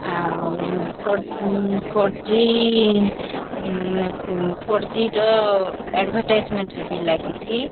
ଆଉ ଫର ଉଁ ଫରଜି ଉଁ ଏ ଉଁ ଫରଜି ର ଏଡଭାଟାଇଜମେଣ୍ଟ ରେ ବି ଲାଗିଛି।